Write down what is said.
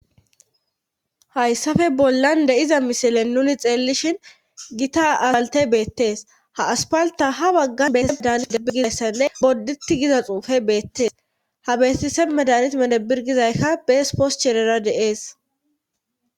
hayssafe bollan de7iza misilen nuni xeellishin gita aspalte beettees ha aspalta ha baggan bee medan medabi gizayssenne bodditi giza xuufe beettees ha beestise medanit medebir gizaykka bees pos sherera deees